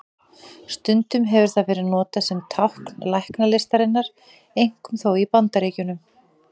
Stundum hefur það verið notað sem tákn læknislistarinnar, einkum þó í Bandaríkjunum.